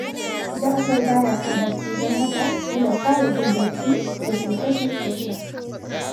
Ja’afar ba ya son haske, don haka yana fara jin barci yake kashe fitila